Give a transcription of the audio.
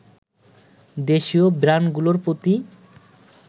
দেশীয় ব্র্যান্ডগুলোর প্রতি